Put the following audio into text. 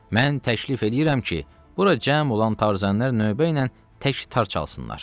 Mən təklif eləyirəm ki, bura cəm olan tarzənlər növbə ilə tək tar çalsınlar.